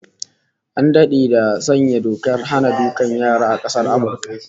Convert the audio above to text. An dade da sanya dokar hana dukan yara a Amurka